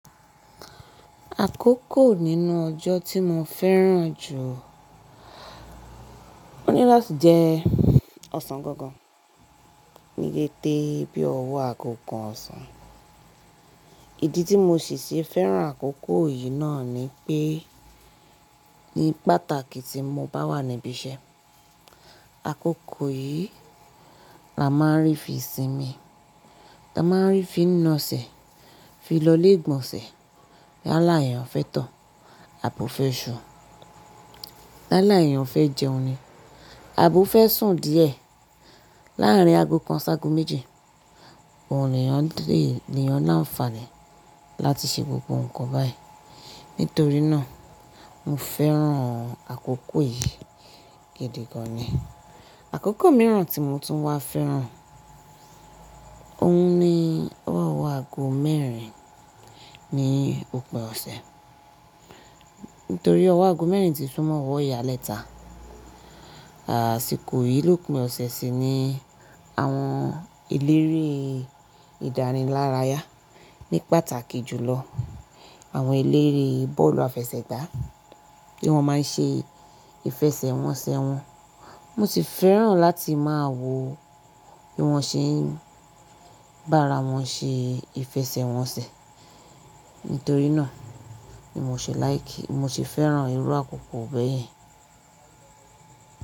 Àkókò nínú ọjọ́ tí mo fẹ́ràn jù, ó ní láti jẹ ọ̀sán gangan, ní dédè bí ọwọ́ àgò kan ọ̀sán. Ìdí tí mo sì ṣi fẹ́ràn àkókò yìí náà ni pé, ní pàtàkì tí mo bá wà níbí iṣẹ́, àkókò yìí la máa ń rí fi sinmi, ta máa ń rí fi na sẹ̀, fi lọlé gbọnsẹ̀. Yálà eyàn fẹ́ tọ̀, abo fẹ́ sù. Yálà eyàn fẹ́ jẹun ni, abo fẹ́ sùn díẹ̀. Láàrín aago kan ṣágu méji, òun leyan l'eeyan l'àǹfààní láti ṣe gbogbo nǹkan báyìí. Nítorí náà, mo fẹ́ràn àkókò yìí gidi gan-an ni. Àkókò mìíràn tí mo tún wá fẹ́ràn, òun ni ọwọ́ aago mẹ́rin ní òpin ọ̀sẹ̀. Nítorí ọwọ́ aago mẹ́rin ti súnmọ́ ọwọ́ ìyálẹ́ta. Àsìkò yìí lópin ọ̀sẹ̀ sì ni àwọn elere ìdánilárayá ní pàtàkì jùlọ. Àwọn elere bọ́ọ̀lù àfẹsẹ̀gbá, bí wọ́n màá ṣe ìfẹsẹ̀wọnsẹ̀ wọn. Mo sì fẹ́ràn láti máa wo bí wọ́n ṣe ń bá ara wọn ṣe ìfẹsẹ̀wọnsẹ̀. Nítorí náà ni mo ṣè láìkì, mo sì fẹ́ràn irú àkókò bẹ́ẹ̀ yẹn.